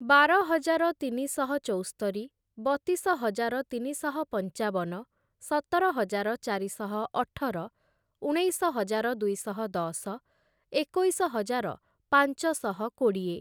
ବାର ହଜାର ତିନିଶହ ଚଉସ୍ତରି, ବତିଶ ହଜାର ତିନିଶହ ପଞ୍ଚାବନ, ସତର ହଜାର ଚାରିଶହ ଅଠର, ଉଣେଇଶ ହଜାର ଦୁଇଶହ ଦଶ, ଏକୋଇଶ ହଜାର ପାଞ୍ଚଶହ କୋଡ଼ିଏ ।